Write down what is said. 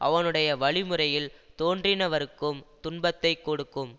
அவனுடைய வழிமுறையில் தோன்றினவருக்கும் துன்பத்தை கொடுக்கும்